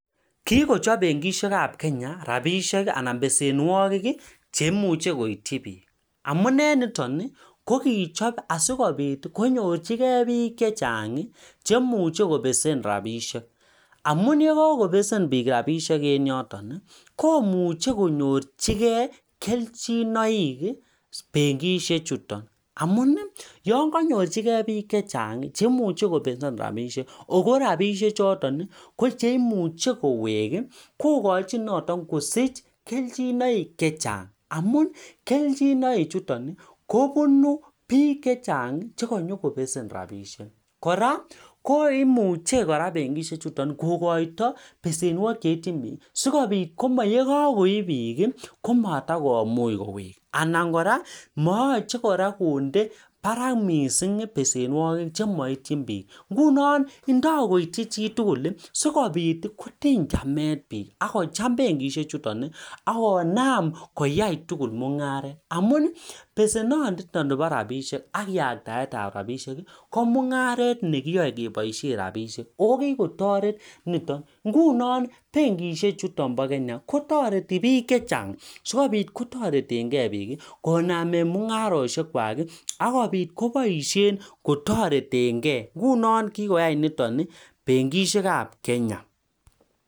Kikochop benkisiekab Kenya rabiisiek anan besenwogik ii chemuche koityi piik, amune niton ii ko kichop ii asikobit konyorchikei piik che chang ii chemuche kobesen rabiisiek, amun ye kakobesen rabiisiek en yoton ii komuche konyorchikei kelchinoik ii benkisiechuton, amun yon kanyorchikei piik che chang ii chemuche kobesen rabiisiek ,ako rabiisiechoton ko chemuche kowek ii kokochin noton kosich kelchinoik che chang, amun kelchinoik chuton kobunu piik che chang che kanyokobesen rabiisiek, kora koimuche kora benkisiechuton kokoito besenwogik che ityin piik si kobit koma ye kakoip piik ii komatakomuch kowek anan kora mayache kora konde barak mising besenwogik che maityin piik, ngunon indoi koityi chitugul ii si kobit kotiny chamet piik ak kocham benkisiechuton, akonam koyai tugul mungaret amun besenoniton nebo rabiisiek ak yaktaetab rabiisiek ko mungaret ne kiyoe keboisie rabiisiek ako kikotoret niton, ngunon benkisie chuton bo kenya kotoreti piik che chang sikobit kotoretenkei piik konamen mungarosiekwak akobit koboisien kotoretenkei ngunon kikoyai niton ii benkisiekab Kenya.